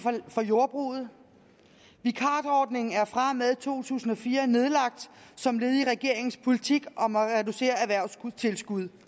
for jordbruget vikarordningen er fra og med to tusind og fire nedlagt som led i regeringens politik om at reducere erhvervstilskud